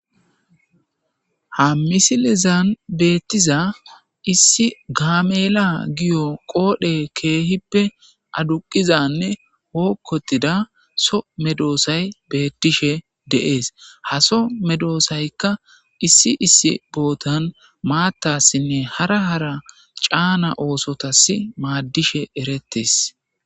Ha misilezan beettiza issi gaamela giyo qoodhe keehippe aduqizanne hookkotida so medoosay beettishe deees haso medoosaykka issi issi bootan maattassinne hara hara caana oosotas maaddishe erettes